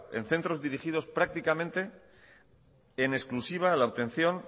en centros dirigidos prácticamente en exclusiva a la obtención